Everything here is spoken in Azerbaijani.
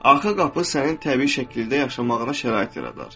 Arxa qapı sənin təbii şəkildə yaşamağına şərait yaradar.